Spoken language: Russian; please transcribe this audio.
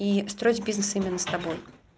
и строить бизнес именно с тобой